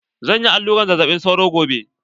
Zan yi aluran zazzaɓi sauro gobe.